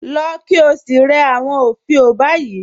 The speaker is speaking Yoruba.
Lọ̀ kí ó sí rẹ̀ awọn ofíò báyì